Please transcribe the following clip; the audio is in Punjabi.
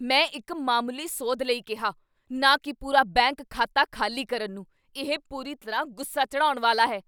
ਮੈਂ ਇੱਕ ਮਾਮੂਲੀ ਸੋਧ ਲਈ ਕਿਹਾ, ਨਾ ਕੀ ਪੂਰਾ ਬੈਂਕ ਖਾਤਾ ਖਾਲੀ ਕਰਨ ਨੂੰ! ਇਹ ਪੂਰੀ ਤਰ੍ਹਾਂ ਗੁੱਸਾ ਚੜ੍ਹਾਉਣ ਵਾਲਾ ਹੈ।